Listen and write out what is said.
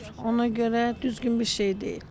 Ona görə də düzgün bir şey deyil.